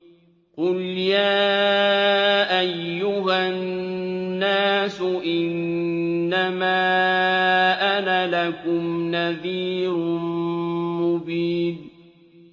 قُلْ يَا أَيُّهَا النَّاسُ إِنَّمَا أَنَا لَكُمْ نَذِيرٌ مُّبِينٌ